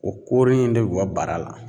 O koro in de bi bɔ bara la.